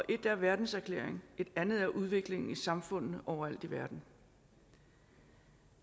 ét er verdenserklæringen et andet er udviklingen i samfundene overalt i verden